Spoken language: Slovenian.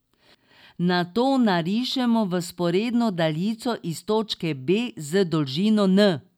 Nato narišemo vzporedno daljico iz točke B z dolžino n.